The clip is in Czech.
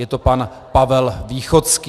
Je to pan Pavel Východský.